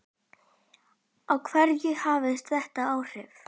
Á hverja hefur þetta áhrif?